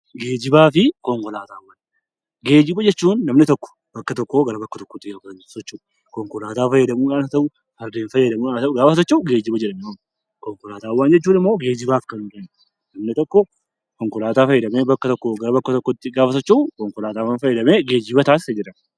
Geejjiba jechuun namni tokko bakkaa bakkatti yeroo socho'u konkolaataa fayyadamuun haa ta'u, hawaasa jechuun geejjiba jedhanii waamu. Konkolaataawwan geejjibaaf kan bakka tokkoo bakka biraatti gaafa socho'u geejjiba taasise jedhama.